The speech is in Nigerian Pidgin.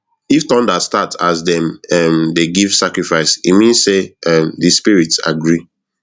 if thunder start as dem um dey give sacrifice e mean say um di spirits agree